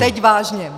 Teď vážně.